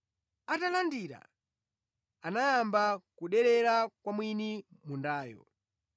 Atalandira, anayamba kuderera kwa mwini mundayo.